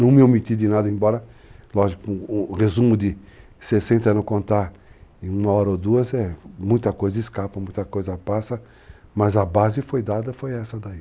Não me omiti de nada, embora, lógico, um resumo de 60 e não contar em uma hora ou duas, muita coisa escapa, muita coisa passa, mas a base foi dada, foi essa daí.